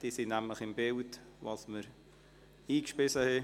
Diese sind nämlich im Bilde darüber, was wir eingebracht haben.